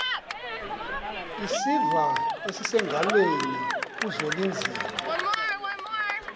isiva esisengalweni kuzwelinzima